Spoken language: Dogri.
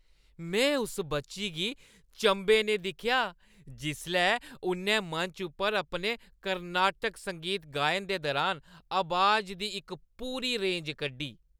में उस बच्ची गी चंभे च दिक्खेआ जिसलै उʼन्नै मंच उप्पर अपने कर्नाटक संगीत गायन दे दुरान अबाज दी इक पूरी रेंज कड्ढी।